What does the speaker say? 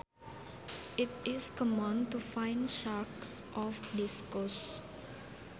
It is common to find sharks off this coast